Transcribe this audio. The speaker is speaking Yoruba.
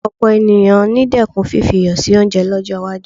Ọ̀pọ̀ ènìyàn ni dẹ́kun fífi iyọ̀ sí oúnjẹ lọ́jọ́ iwájú